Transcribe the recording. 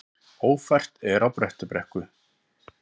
Ófært er á Bröttubrekku